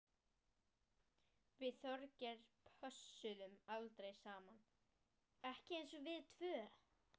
Við Þorgeir pössuðum aldrei saman, ekki eins og við tvö.